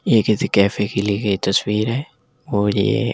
यह किसी कैफे की ली गई तस्वीर है और यह ।